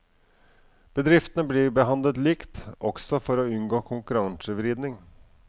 Bedriftene blir behandlet likt også for å unngå konkurransevridning.